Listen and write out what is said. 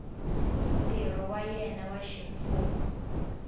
ntirho wa yena wa ximfumo